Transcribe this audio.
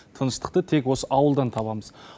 тыныштықты тек осы ауылдан табамыз